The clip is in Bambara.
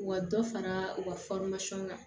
U ka dɔ fara u ka kan